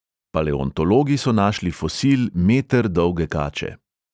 Paleontologi so našli fosil meter dolge kače.